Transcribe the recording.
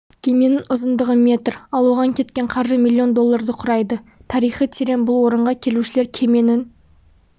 кеменің ұзындығы метр ал оған кеткен қаржы миллион долларды құрайды тарихы терең бұл орынға келушілер кеменің